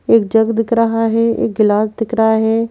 एक जग दिख रहा है एक गिलास दिख रहा है।